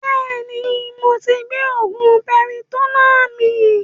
Bẹ́ẹ̀ni moti gbé oògùn piritonnáà mi